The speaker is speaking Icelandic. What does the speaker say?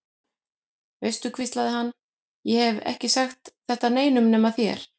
Veistu, hvíslaði hann, ég hef ekki sagt þetta neinum nema þér.